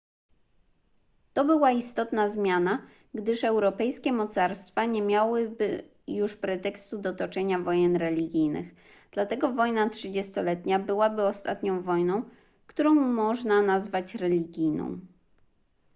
to była istotna zmiana gdyż europejskie mocarstwa nie miałyby już pretekstu do toczenia wojen religijnych dlatego wojna trzydziestoletnia byłaby ostatnią wojną którą można nazwać religijną